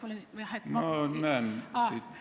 Ma näen siit kõiki, nii et olge rahulik.